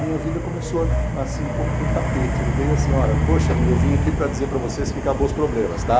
Minha vida começou assim como que um tapete, ele veio assim, olha, poxa vida, eu vim aqui para dizer para vocês que acabou os problemas, tá?